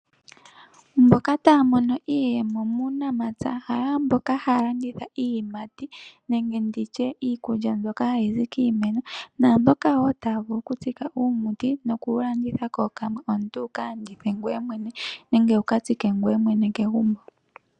Mboka taya mono iiyemo muunamapya , kayo ashike mboka haya landitha iiyimati nenge. Ditye iikilya mbyoka hayi zi kiimeno, naa mboka woo taya vulu oku tsika uumuti, no ku wu landitha kookamwe, omuntu wu ka landithe ngoye mwene nenge wu katsike ngoye mwene kegumbo.